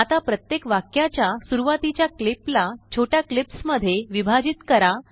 आता प्रत्येकवाक्याच्यासुरुवातीच्याक्लिपला छोट्याक्लिप्स मध्येविभाजित करा